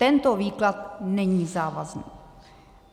Tento výklad není závazný.